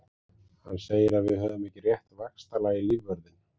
Hann segir að við höfum ekki rétt vaxtalag í lífvörðinn.